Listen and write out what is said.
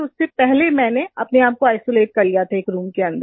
उससे पहले मैंने अपने आप को आइसोलेट कर लिया था एक रूम के अन्दर